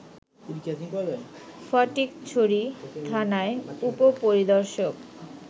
ফটিকছড়ি থানার উপ-পরিদর্শক